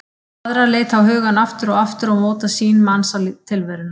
Aðrar leita á hugann aftur og aftur og móta sýn manns á tilveruna.